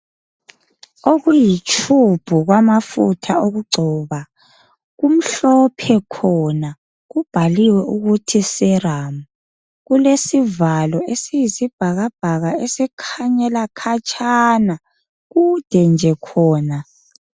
Okuyitube kwamafutha okugcoba, kumhlophe khona. Kubhaliwe ukuthi, Serum. Kulesivalo esiyisibhakabhaka esikhanyela khatshana. Kude nje khona.